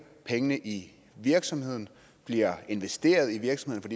pengene i virksomheden bliver investeret i virksomheden